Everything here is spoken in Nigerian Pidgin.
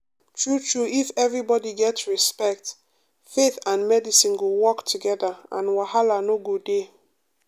true true if everybody get respect faith and medicine go work together and wahala no go dey.